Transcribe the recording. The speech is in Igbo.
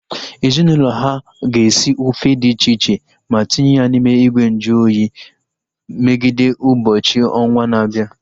Ezinaụlọ ha ga-esi ofe dị iche iche ma tinye ya n'ime ìgwè nju oyi megide ụbọchị ọnwa na-abịa